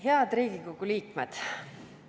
Head Riigikogu liikmed!